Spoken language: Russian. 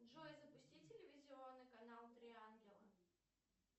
джой запусти телевизионный канал три ангела